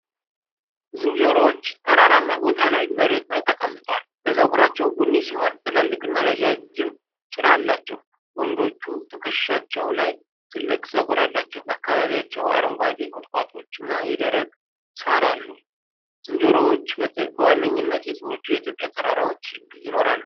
ዝንጀሮዎች ተራራማ ቦታ ላይ መሬት ላይ ተቀምጠዋል። ጸጉራቸው ቡኒ ሲሆን ትላልቅና ረጅም ጭራ አላቸው። ወንዶቹ ትከሻቸው ላይ ትልቅ ጸጉር አላቸው። በአካባቢያቸው አረንጓዴ ቁጥቋጦዎችና የደረቀ ሳር አሉ። ዝንጀሮዎችበዋነኛነት የትኞቹ የኢትዮጵያ ተራራዎች ይኖራሉ?